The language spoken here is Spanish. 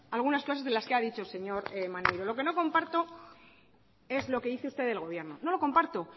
algunas cosas de las que ha dicho señor maneiro lo que no comparto es lo que dice usted del gobierno no lo comparto